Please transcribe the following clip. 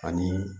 Ani